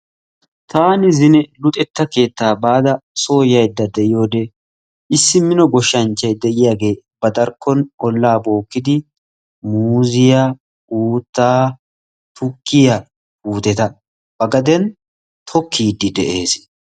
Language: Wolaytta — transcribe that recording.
Taani zine luxetta keettaa baada yaydda soo bayda de'iyode issi mino goshshanchchay de'iyagee ba darkkon ollaa bookkiddi, muuziya, uuttaa, tukkiya puuteta tokkiiddi de'ees.